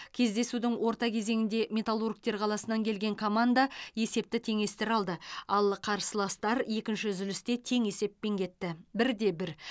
кездесудің орта кезеңінде металлургтер қаласынан келген команда есепті теңестіре алды ал қарсыластар екінші үзілісте тең есеппен кетті бір де бір